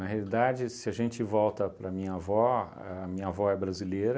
Na realidade, se a gente volta para a minha avó, a minha avó é brasileira,